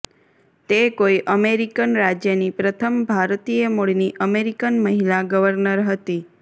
તે કોઈ અમેરિકન રાજ્યની પ્રથમ ભારતીય મૂળની અમેરિકન મહિલા ગવર્નર હતી